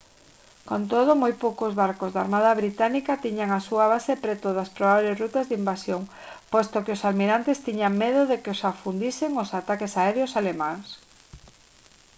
con todo moi poucos barcos da armada británica tiñan a súa base preto das probables rutas de invasión posto que os almirantes tiñan medo de que os afundisen os ataques aéreos alemáns